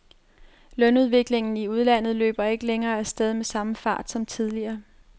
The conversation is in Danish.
Lønudviklingen i udlandet løber ikke længere af sted med samme fart som tidligere.